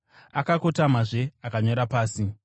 Akakotamazve akanyora pasi.